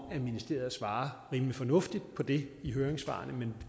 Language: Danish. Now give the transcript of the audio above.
ministeriet svarer rimelig fornuftigt på det i høringssvarene men